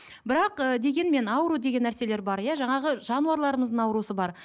бірақ ыыы дегенмен ауру деген нәрселер бар иә жаңағы жануарларымыздың бар